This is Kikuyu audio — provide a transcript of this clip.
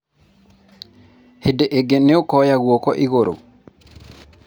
hĩndĩ ĩngĩ nĩ ũkoya guoko igũrũ?